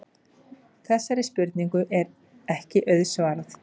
Þessari spurningu er ekki auðsvarað.